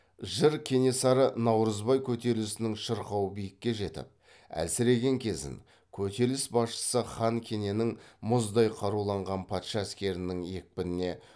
жыр кенесары наурызбай көтерілісінің шырқау биікке жетіп әлсіреген кезін көтеріліс басшысы хан кененің мұздай каруланған патша әскерінің екпініне